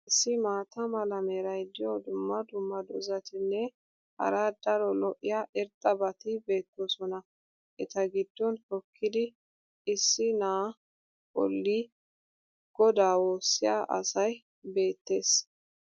issi maata mala meray diyo dumma dumma dozzatinne hara daro lo'iya irxxabati beetoosona. eta giddon hookkidi issi na"aa boli godaa woosiya asay beetees.